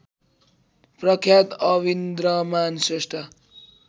प्रख्यात अविन्द्रमान श्रेष्ठ